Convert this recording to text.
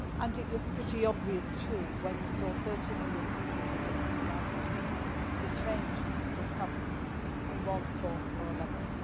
It was pretty obvious, too when you saw 30 million people beginning to gather that change was coming in one form or another.